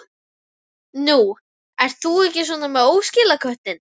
Nú, ert þú ekki með óskilaköttinn?